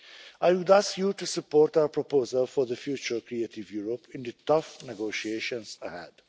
on the world scene. I would ask you to support our proposal for the future Creative Europe in the tough